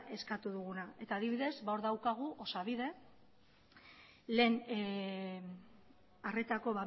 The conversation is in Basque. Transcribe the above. eskatu duguna eta adibidez hor daukagu osabide lehen arretako